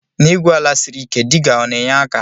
Na igwu ala siri ike diga ọna enye aka?